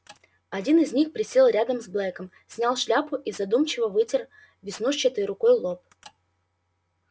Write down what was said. один из них присел рядом с блэком снял шляпу и задумчиво вытер веснушчатой рукой лоб